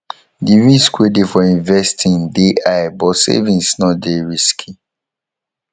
di risk wey de for investing de high but savings no de risky